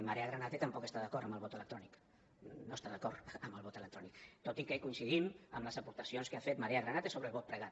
marea granate tampoc està d’acord amb el vot electrònic no està d’acord amb el vot electrònic tot i que coincidim amb les aportacions que ha fet marea granate sobre el vot pregat